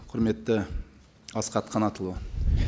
құрметті асхат қанатұлы